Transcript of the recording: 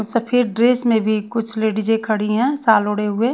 सफेद ड्रेस में भी कुछ लेडिजे खड़ी है। साल ओढ़े हुए--